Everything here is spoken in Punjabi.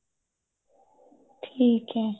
ਠੀਕ ਏ